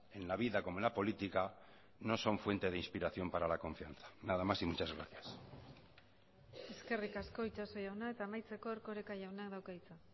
en la vida como en la política no son fuente de inspiración para la confianza nada más y muchas gracias eskerrik asko itxaso jauna eta amaitzeko erkoreka jaunak dauka hitza